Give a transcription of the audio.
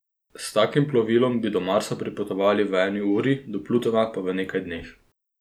S takim plovilom bi do Marsa pripotovali v eni uri, do Plutona pa v nekaj dneh.